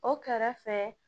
O kɛrɛfɛ